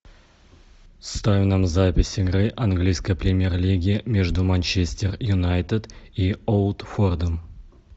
ставь нам запись игры английской премьер лиги между манчестер юнайтед и уотфордом